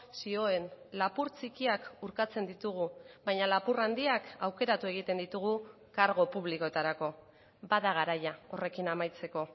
zioen lapur txikiak urtatzen ditugu baina lapur handiak aukeratu egiten ditugu kargu publikoetarako bada garaia horrekin amaitzeko